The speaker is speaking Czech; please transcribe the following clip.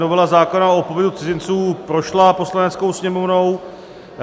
Novela zákona o pobytu cizinců prošla Poslaneckou sněmovnou.